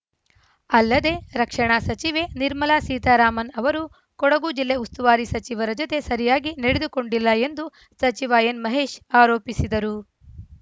ಅಲ್ಲದೆ ರಕ್ಷಣಾ ಸಚಿವೆ ನಿರ್ಮಲಾ ಸೀತಾರಾಮನ್‌ ಅವರು ಕೊಡಗು ಜಿಲ್ಲಾ ಉಸ್ತುವಾರಿ ಸಚಿವರ ಜತೆ ಸರಿಯಾಗಿ ನಡೆದುಕೊಂಡಿಲ್ಲ ಎಂದು ಸಚಿವ ಎನ್‌ ಮಹೇಶ್‌ ಆರೋಪಿಸಿದರು